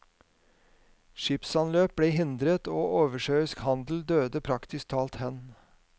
Skipsanløp ble hindret, og oversjøisk handel døde praktisk talt hen.